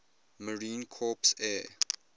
marine corps air